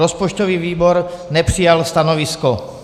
Rozpočtový výbor nepřijal stanovisko.